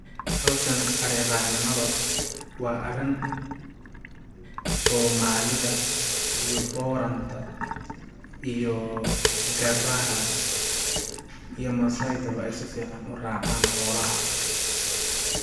Hawshani ari raaac nimada waa arin soomalida iyo booranta iyo garaha iyo maasai da bo ay sifican u racaan xoolaha.